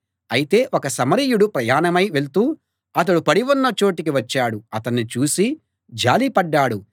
అయితే ఒక సమరయుడు ప్రయాణమై వెళ్తూ అతడు పడి ఉన్న చోటికి వచ్చాడు అతణ్ణి చూసి జాలి పడ్డాడు